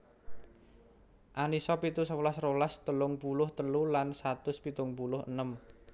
An Nisa pitu sewelas rolas telung puluh telu lan satus pitung puluh enem